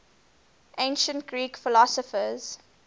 ancient greek philosophers